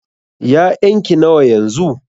ya'yan ki nawa yanzu?